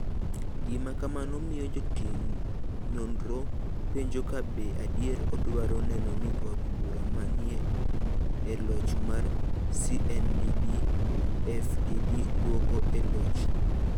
Gima kamano miyo jotim nonro penjo ka be adier odwaro neno ni od bura ma ni e locho mar CNDD-FDD lwok e loch.